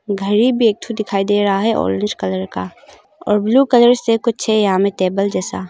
घड़ी भी एक थू दिखाई दे रहा है ऑरेंज कलर का और ब्लू कलर से कुछ यहां में टेबल जैसा।